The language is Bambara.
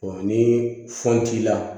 ni fɛn t'i la